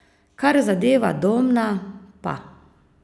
Kar zadeva Domna, pa ...